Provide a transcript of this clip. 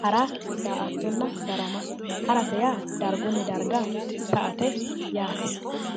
hara daa"attonna darama harate yaa dargunni darga sa"ate yaate